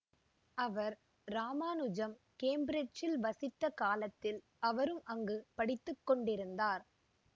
அவர் இராமானுஜன் கேம்பிரிட்ஜில் வசித்த காலத்தில் அவரும் அங்கு படித்து கொண்டிருந்தார்